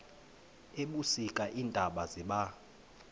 ebusika iintaba ziba